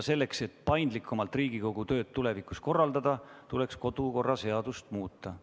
Selleks, et Riigikogu tööd tulevikus paindlikumalt korraldada, tuleks kodu- ja töökorra seadust muuta.